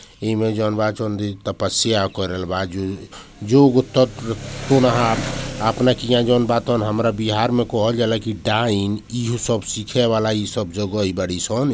इ में जोन बा तोन तपस्या करेलबा जन युग तक हमरा बिहार में कहल जाला की टाइम इ उ सब सीखेवाला इ सब जगह इ बाड़ी सन |